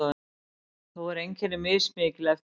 þó eru einkenni mismikil eftir dýrum